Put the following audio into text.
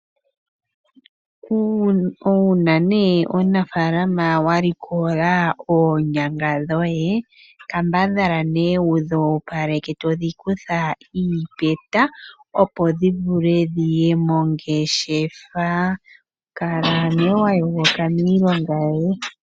Uuna omunafaalama walikola oonyanga dhoye, kambadhala wudhi opaleke .Eto dhikutha iipeta opo dhivule dhiye mongeshefa. Kala wayogoka miilonga yoye.